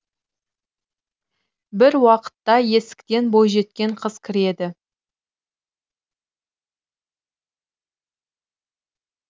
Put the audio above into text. бір уақытта есіктен бойжеткен қыз кіреді